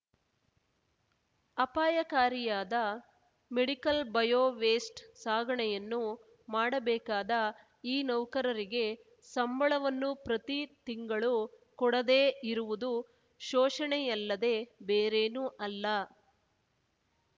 ಅಪಾಯಕಾರಿಯಾದ medical bio waste ಸಾಗಣೆಯನ್ನೂ ಮಾಡಬೇಕಾದ ಈ ನೌಕರರಿಗೆ ಸಂಬಳವನ್ನು ಪ್ರತಿ ತಿಂಗಳು ಕೊಡದೇ ಇರುವುದು ಶೋಷಣೆಯಲ್ಲದೆ ಬೇರೇನೂ ಅಲ್ಲ